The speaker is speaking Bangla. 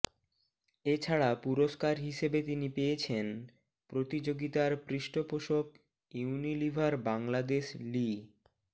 এ ছাড়া পুরস্কার হিসেবে তিনি পেয়েছেন প্রতিযোগিতার পৃষ্ঠপোষক ইউনিলিভার বাংলাদেশ লি